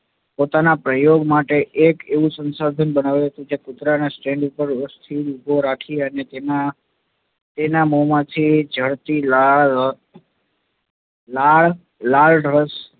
પોતાના પ્રયોગ માટે એક એવું સંસાધન બનાવ્યું હતું કે કુતરાના stand પર સ્થિર ઉભો રાખીને અને તેના મો માંથી ઝરતી લાળ, લાળરસ